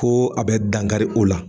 Ko a bɛ dangari o la.